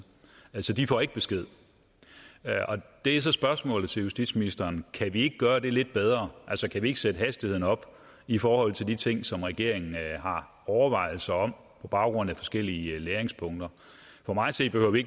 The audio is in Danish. altså de får ikke besked det er så spørgsmålet til justitsministeren kan vi ikke gøre det lidt bedre altså kan vi ikke sætte hastigheden op i forhold til de ting som regeringen har overvejelser om på baggrund af forskellige læringspunkter for mig at se behøver vi